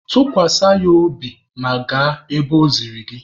Tụkwasa ya obi ma gaa ebe o ziri gị!